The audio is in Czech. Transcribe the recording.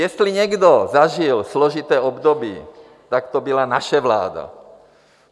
Jestli někdo zažil složité období, tak to byla naše vláda.